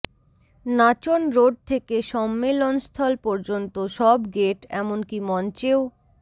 নাচন road থেকে সম্মেলনস্থল পর্যন্ত সব গেট এমনকী মঞ্চেও